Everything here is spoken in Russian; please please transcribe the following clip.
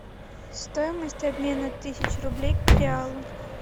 стоимость обмена тысячи рублей к реалу